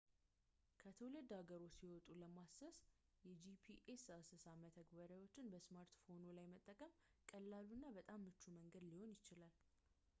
ከትውልድ ሀገርዎ ሲወጡ ለማሰስ የጂፒኤስ አሰሳ መተግበሪያዎችን በስማርትፎንዎ ላይ መጠቀም ቀላሉ እና በጣም ምቹ መንገድ ሊሆን ይችላል